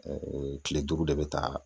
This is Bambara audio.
kile duuru de bɛ taa